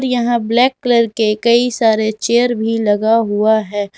यहां black colour के कई सारे चेयर भी लगा हुआ है।